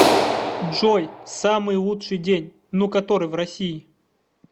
джой самый лучший день ну который в россии